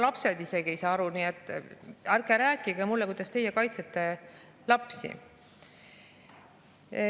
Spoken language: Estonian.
Lapsed ise ka ei saa aru, nii et ärge rääkige mulle, kuidas teie kaitsete lapsi.